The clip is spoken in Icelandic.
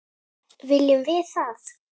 Viljum við það?